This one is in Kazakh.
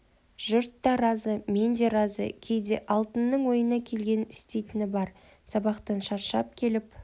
жұрт та разы мен де разы кейде алтынның ойына келгенін істейтіні бар сабақтан шаршап келіп отыр